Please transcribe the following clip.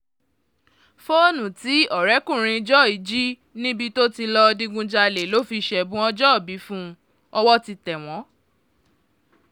fóònù tí ọ̀rẹ́kùnrin joy jí níbi tí lọ́ọ́ digunjalè ló fi ṣẹ̀bùn ọjọ́òbí fún un ọ̀wọ̀ ti tẹ̀ wọ́n